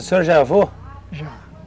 O senhor já é avô? Já.